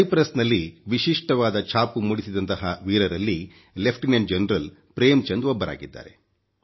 Cyprus ನಲ್ಲಿ ವಿಶಿಷ್ಟವಾದ ಛಾಪು ಮೂಡಿಸಿದಂತ ವೀರರಲ್ಲಿ ಲೆಫ್ಟಿನೆಂಟ್ ಜನರಲ್ ಪ್ರೇಮ್ ಚಂದ್ ಒಬ್ಬರಾಗಿದ್ದಾರೆ